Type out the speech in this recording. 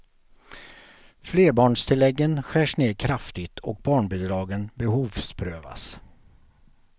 Flerbarnstilläggen skärs ned kraftigt och barnbidragen behovsprövas.